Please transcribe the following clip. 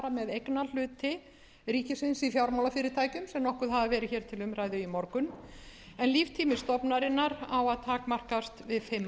með eignarhluti ríkisins í fjármálafyrirtækjum sem nokkuð hafa verið hér til umræðu í morgun en líftími stofnunarinnar á að takmarkast við